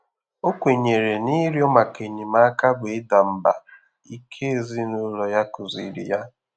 Ọ́ kwènyèrè nà ị́rị́0̣ màkà ényémáká bụ́ ị́dà mbà íké èzínụ́l0̣ yá kụ́zị̀rị̀ yá.